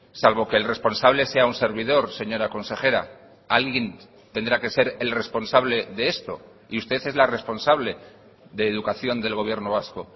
salvo que el responsable sea un servidor señora consejera alguien tendrá que ser el responsable de esto y usted es la responsable de educación del gobierno vasco